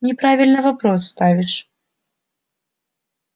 неправильно вопрос ставишь